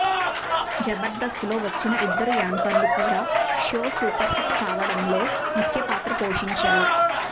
జబర్దస్త్ లో వచ్చిన ఇద్దరు యాంకర్లు కూడా షో సూపర్ హిట్ కావడంలో ముఖ్యపాత్ర పోషించారు